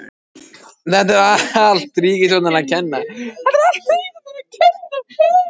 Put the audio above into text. Þetta er allt ríkisstjórninni að kenna.